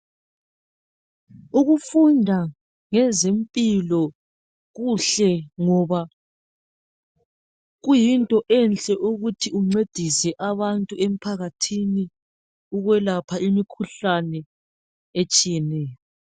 Ukufunda ngezempilo kuhle ngoba kuyinto enhle ukuthi uncedise abantu emphakathini ukuyelapha emikhuhlane etshiyeneyo.